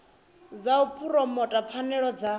zwa u phuromotha pfanelo dza